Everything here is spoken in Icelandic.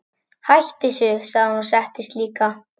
Hættu þessu, sagði hún og settist líka.